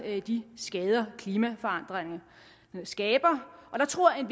de skader klimaforandringen skaber og der tror jeg at